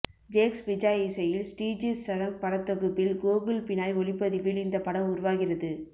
ஜேக்ஸ் பிஜாய் இசையில் ஸ்ரீஜித் சரங் படத்தொகுப்பில் கோகுல் பினாய் ஒளிப்பதிவில் இந்த படம் உருவாகிறது